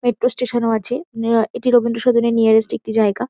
Metro station আছে। আ এটি রবীন্দ্র সদনের নিয়ারেস্ট একটি জায়গা।